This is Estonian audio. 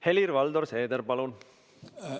Helir-Valdor Seeder, palun!